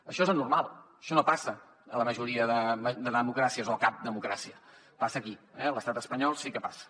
això és anormal això no passa a la majoria de democràcies o a cap democràcia passa aquí eh a l’estat espanyol sí que passa